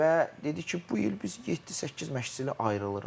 Və dedi ki, bu il biz yeddi-səkkiz məşqçi ilə ayrılırıq.